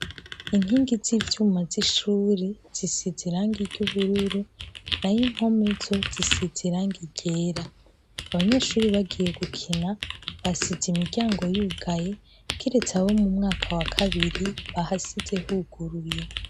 Inkingi z'ivyuma z'ishuri zisitirangi iry'ubururu na y'impometso zisize irangi ryera abanyeshuri bagiye gukina basize imiryango yugaye kiretse abo mu mwaka wa kabiri bahasize huguruye.